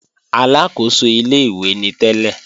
Aláàkóso ilé-ìwé ni tẹ́lẹ̀